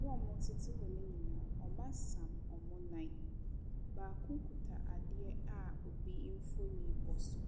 Wɔn a wɔtete hɔ no nyinaaa. Wɔasam wɔn nan. Obi kita adeɛ a obi mfoni bɔ so.